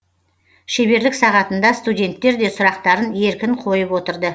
шеберлік сағатында студенттер де сұрақтарын еркін қойып отырды